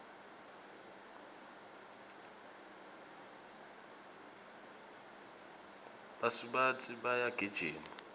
basubatsi bayagijima